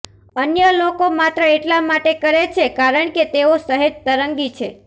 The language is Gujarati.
અન્ય લોકો માત્ર એટલા માટે કરે છે કારણ કે તેઓ સહેજ તરંગી છે